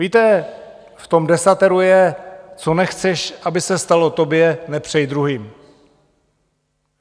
Víte, v tom desateru je - co nechceš, aby se stalo tobě, nepřej druhým.